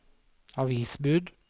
avisbud